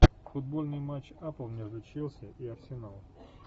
футбольный матч апл между челси и арсеналом